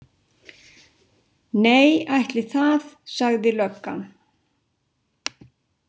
Nei, ætli það, sagði löggan.